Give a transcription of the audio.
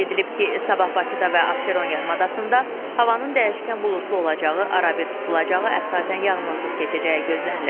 Qeyd edilib ki, sabah Bakıda və Abşeron yarımadasında havanın dəyişkən buludlu olacağı, arabir tutulacağı, əsasən yağmursuz keçəcəyi gözlənilir.